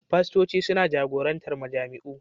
Fastoci suna jagorantar majami'u